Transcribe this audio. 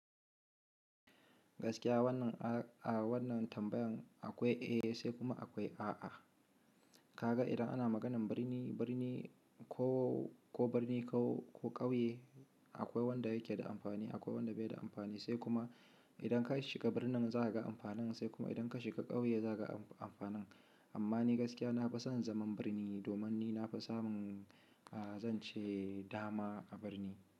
Gaskiya wannan, a wannan tambayan akwai eh sai kuma akwai a a. Ka ga idan ana maganan birni, birni ko, ko birni ko, ko ƙauye akwai wanda yake da amfani akwai wanda bai da amfani sai kuma idan ka shiga birnin za ka ga amfanin sai kuma idan ka shiga ƙauye za ka ga amfanin. Amma ni gaskiya na fi son zaman birni domin ni na fi samun, a zan ce dama a birni.